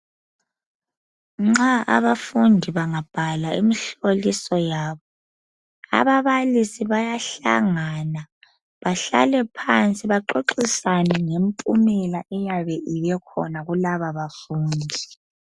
Nxa abafundi bangabhala imihloliso yabo ababalisi bayahlangana bahlale phansi baxoxisane ngempumela eyabe ibekhona kulaba bafundi.